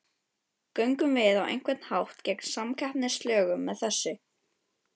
Göngum við á einhvern hátt gegn samkeppnislögum með þessu?